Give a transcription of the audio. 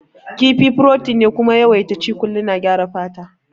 Kifi furotin ne kuma yawaita ci kullum na gyara fata